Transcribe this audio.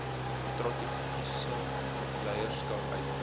strategiese leierskap uitkoms